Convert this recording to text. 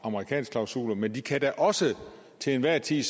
amerikansk klausuler men de kan da også til enhver tid